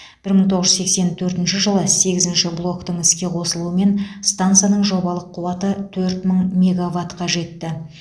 бір мың тоғыз жүз сексен төртінші жылы сегізінші блоктың іске қосылуымен стансаның жобалық қуаты төрт мың мегаватқа жетті